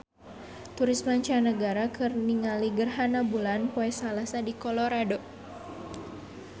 Turis mancanagara keur ningali gerhana bulan poe Salasa di Colorado